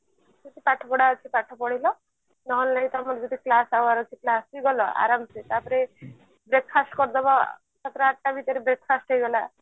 କିଛି ପାଠ ପଢା ଅଛି ପାଠ ପଢିଲ ନହେଲ ତମର ଯଦି class hour ଅଛି class ବି ଗଲ ଆରମ ସେ ତାପରେ breakfast କରିଦବ ସାତଟା ଆଠଟା ଭିତରେ breakfast ହେଇଗଲା